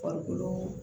Farikolo